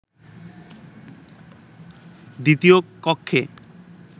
দ্বিতীয় কক্ষে